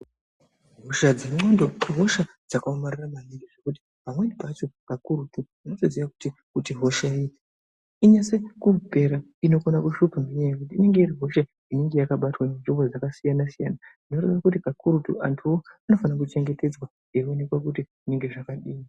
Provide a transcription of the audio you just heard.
Hosha nehosha dzakaomarara maningi ngekuti pamweni pacho kakurutu hosha inase kupera inokona kuhlupa ngekuti inenge iri hosha yakabatwa nzvimbo dzakasiyana siyana zvinoreva kuti kakurutu antuwo anofane kuchengetedzwa .